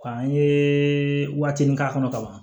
Nka an ye waatinin k'a kɔnɔ ka ban